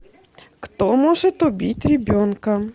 кто может убить ребенка